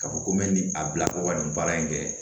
Ka fɔ ko n bɛ nin a bila ko ka nin baara in kɛ